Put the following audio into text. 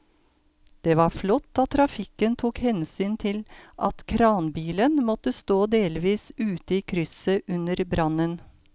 Det var flott at trafikken tok hensyn til at kranbilen måtte stå delvis ute i krysset under brannen.